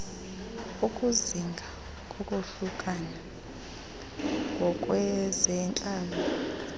ukuzinga kokohlukana ngokwezentlalo